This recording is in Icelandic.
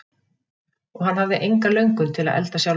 Og hann hafði enga löngun til að elda sjálfur.